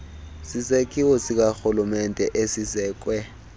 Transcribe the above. sisakhiwo sikarhulumente esisekwe